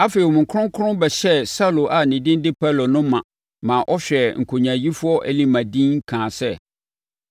Afei, Honhom Kronkron bɛhyɛɛ Saulo a ne din de Paulo no ma maa ɔhwɛɛ nkonyaayifoɔ Elima dinn kaa sɛ,